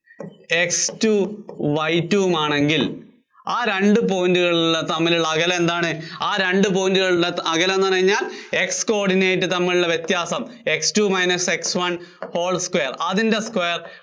X two Y two ഉം ആണെങ്കില്‍, ആ രണ്ടു point കളും തമ്മിലുള്ള അകലം എന്താണ്, ആ രണ്ടു point കളും തമ്മിലുള്ള അകലം എന്നു പറഞ്ഞുകഴിഞ്ഞാല്‍ X coordinates തമ്മിലുള്ള വ്യത്യാസം. X two minus X one whole square അതിന്‍റെ square